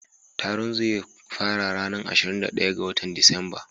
Taron zai fara ranan ashirin da daya na wotan Disamba.